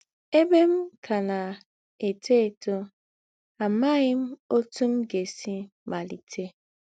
Ēbè m kà na - étò étò, àmàghị m òtú m gà - èsí màlítè.